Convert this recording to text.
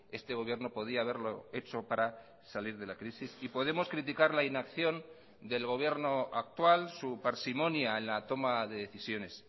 este gobierno podía haberlo hecho para salir de la crisis y podemos criticar la inacción del gobierno actual su parsimonia en la toma de decisiones